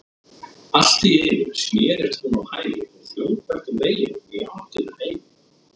Allt í einu snerist hún á hæli og hljóp eftir veginum í áttina heim.